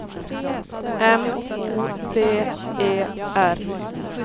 M O D E R